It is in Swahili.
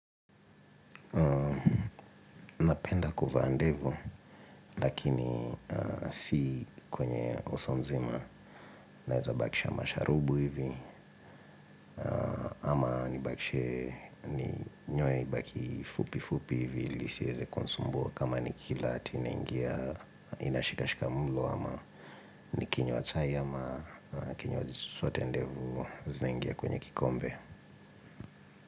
Napenda kuvaa ndevu lakini si kwenye uso mzima naeza bakisha masharubu hivi ama nibakishe ni nyoe ibaki fupi fupi hivi ili isiweze kunisumbua kama nikila hati inaingia inashikashika mlo ama nikinywa chai ama kinywaji chochote ndevu zinaingia kwenye kikombe.